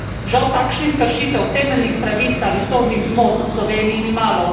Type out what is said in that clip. Žal takšnih kršitev temeljnih pravic ali sodnih zmot v Sloveniji ni malo.